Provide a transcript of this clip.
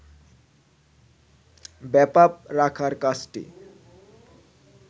ব্যাপআপ রাখার কাজটি